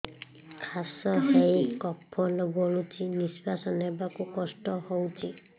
କାଶ ହେଇ କଫ ଗଳୁଛି ନିଶ୍ୱାସ ନେବାକୁ କଷ୍ଟ ହଉଛି